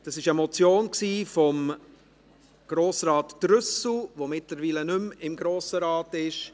Das war eine Motion von Grossrat Trüssel, der mittlerweile nicht mehr im Grossen Rat ist.